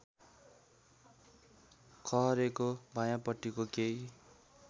खहरेको वायाँपट्टि केही